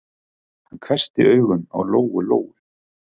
Hann hvessti augun á Lóu-Lóu.